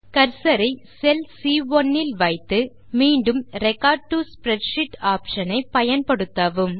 cursor ஐ cell சி1 இல் வைத்து மீண்டும் ரெக்கார்ட் டோ ஸ்ப்ரெட்ஷீட் ஆப்ஷன் ஐ பயன்படுத்தவும்